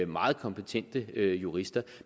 meget kompetente jurister